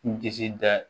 N disi da